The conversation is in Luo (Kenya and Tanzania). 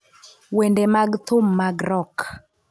Wende mag thum mag rock